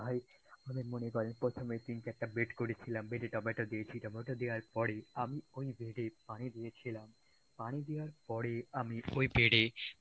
ভাই আপনাদের মনে করেন প্রথমে তিন-চারটা bed করেছিলা, bed এ টমেটো দিয়ে ছিটাফোটা দেয়ার পরই আমি ওই bed এই পানি দিয়েছিলাম পানি দেয়ার পরেই আমি ওই bed এ